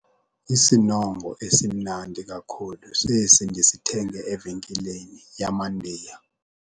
Isinongo esimnandi kakhulu sesi ndisithenge evenkileni yamaNdiya.